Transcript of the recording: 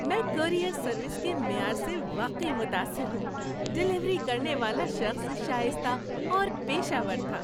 میں courier service کے معیار سے واقعی متاثر ہوں۔ ڈیلیوری کرنے والا شخص شائستہ اور پیشہ ور تھا۔